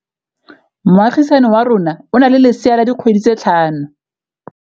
Moagisane wa rona o na le lesea la dikgwedi tse tlhano.